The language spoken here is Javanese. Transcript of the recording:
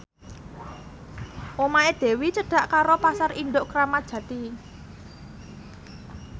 omahe Dewi cedhak karo Pasar Induk Kramat Jati